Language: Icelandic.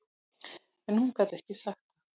En hún gat ekki sagt það.